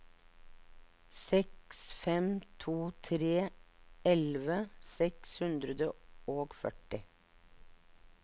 seks fem to tre elleve seks hundre og førti